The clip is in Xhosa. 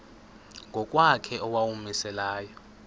ngokwakhe owawumise layo